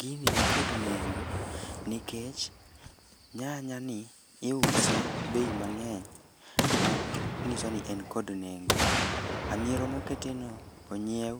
Gini nikod nengo nikech nyanya ni iuse bei mang'eny ma ng'iso ni en kod nengo. Hamiero mokete no onyiew